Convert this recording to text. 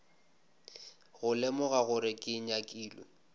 go lemoga gore ke nyakile